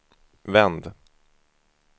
vänd